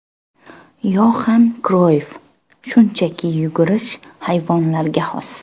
Yoxan Kroyff Shunchaki yugurish – hayvonlarga xos.